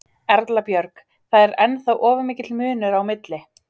Erla Björg: Það er ennþá of mikill munur á milli?